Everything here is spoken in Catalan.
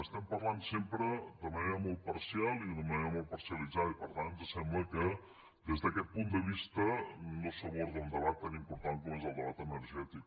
estem parlant sempre de manera molt parcial i d’una manera molt parcialitzada i per tant ens sembla que des d’aquest punt de vista no s’aborda un debat tan important com és el debat energètic